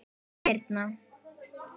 Elsku Birna